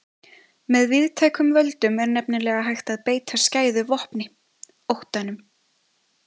Með víðtækum völdum er nefnilega hægt að beita skæðu vopni, óttanum.